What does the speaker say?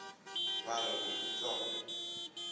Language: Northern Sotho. ba re go utswa go